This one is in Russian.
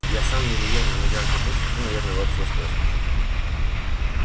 я сам еле-еле на ногах держусь а ты наверное вообще стоя спишь